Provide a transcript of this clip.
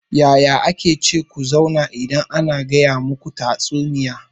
Yaya ake ce ku zauna idan ana gaya muku tatsuniya?